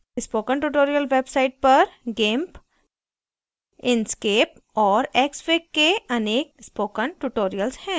spoken tutorial website पर gimp inkscape और xfig के अनेक spoken tutorials हैं